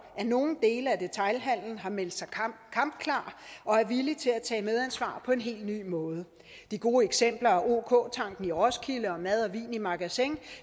at nogle dele af detailhandelen har meldt sig kampklare og er villige til at tage medansvar på en helt ny måde de gode eksempler er ok tanken i roskilde og madvin i magasin